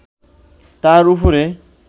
তাঁর উপরে